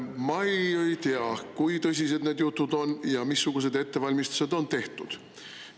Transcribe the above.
Ma ei tea, kui tõsised need jutud on ja missugused ettevalmistused on tehtud.